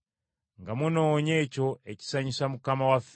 nga munoonya ekyo ekisanyusa Mukama waffe.